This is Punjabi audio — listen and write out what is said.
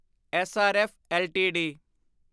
SRF LTD